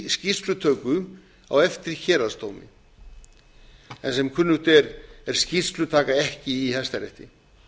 skýrslutöku á eftir héraðsdómi en sem kunnugt er er skýrslutaka ekki í hæstarétti